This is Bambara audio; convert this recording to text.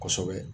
Kosɛbɛ